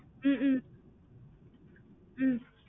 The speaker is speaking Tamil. உம் ம்ம்